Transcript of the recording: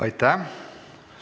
Aitäh!